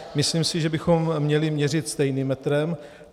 Myslím si, že bychom měli měřit stejným metrem.